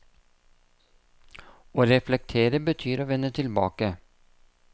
Å reflektere betyr å vende tilbake.